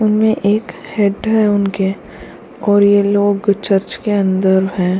उनमें एक हेड है उनके और ये लोग चर्च के अंदर हैं।